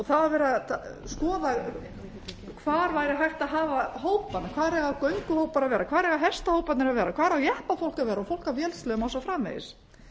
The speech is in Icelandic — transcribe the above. það var verið að skoða hvar væri hægt að hafa hópana hvar eiga gönguhóparnir að vera hvar eiga hestahóparnir að vera hvar á jeppafólk að vera og fólk á vélsleðum og svo framvegis